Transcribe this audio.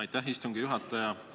Aitäh, istungi juhataja!